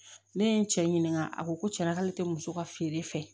Ne ye n cɛ ɲininka a ko cɛna k'ale tɛ muso ka feere fɛ